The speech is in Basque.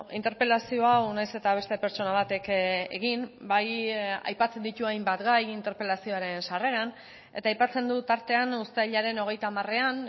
interpelazio hau nahiz eta beste pertsona batek egin bai aipatzen ditu hainbat gai interpelazioaren sarreran eta aipatzen du tartean uztailaren hogeita hamarean